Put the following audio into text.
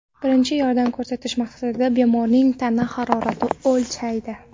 birinchi yordam ko‘rsatish maqsadida bemorning tana haroratini o‘lchaydi.